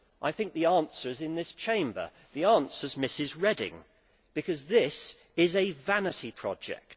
I think the answer is in this Chamber the answer is Ms Reding, because this is a vanity project.